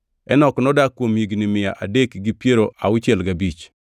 Enok nodak kuom higni mia adek gi piero auchiel gabich.